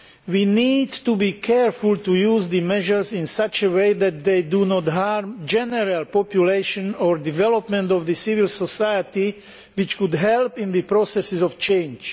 We need to be careful to use the measures in such a way that they do not harm the general population or the development of civil society, which could help in the processes of change.